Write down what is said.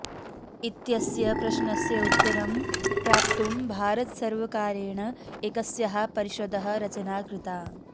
इत्यस्य प्रश्नस्य उत्तरं प्राप्तुं भारतसर्वकारेण एकस्याः परिषदः रचना कृता